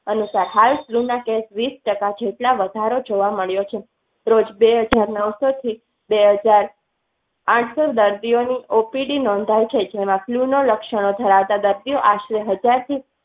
અનુસાર હાલ ના case વીસ ટકા જેટલો વધારો જોવા મળ્યો. રોજ બે હજાર નૌશો થી બે હજાર. આથ દર્દીઓ ની ઓપીડી નોંધાઇ લક્ષણો ધરાવતા આશરે એક હાજર થી